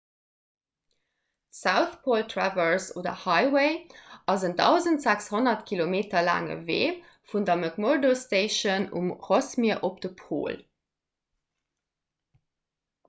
d'south pole traverse oder highway ass en 1 600 km laange wee vun der mcmurdo station um rossmier op de pol